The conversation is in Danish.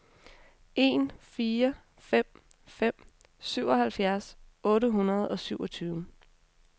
en fire fem fem syvoghalvfjerds otte hundrede og syvogtyve